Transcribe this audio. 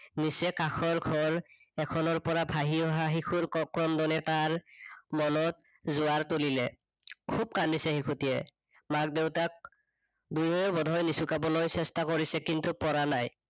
নিচেই কাষৰ ঘৰ এখনৰ পৰা ভাহি অহা শিশুৰ ককন্দনে তাৰ, মনত জোৱাৰ তুলিলে। খুব কান্দিছে শিশুটিয়ে মাক-দেউতাক দুয়ো বোধহয় নিচুকাবলৈ চেষ্ঠা কৰিছে, কিন্তু পৰা নাই।